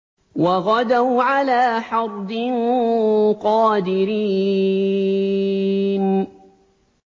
وَغَدَوْا عَلَىٰ حَرْدٍ قَادِرِينَ